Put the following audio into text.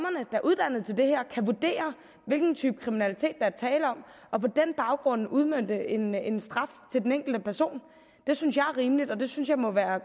er uddannet til det her kan vurdere hvilken type kriminalitet er tale om og på den baggrund udmønte en en straf til den enkelte person det synes jeg er rimeligt og det synes jeg må